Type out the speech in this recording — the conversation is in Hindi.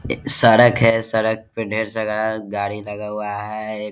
सड़क है सड़क पे ढेर सारा गाड़ी लगा हुआ है। एक --